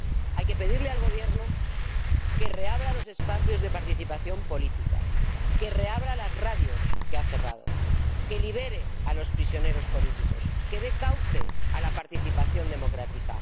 Hay que pedirle al Gobierno que reabra los espacios de participación política, que reabra las radios que ha cerrado, que libere a los prisioneros políticos, que dé cauce a la participación democrática.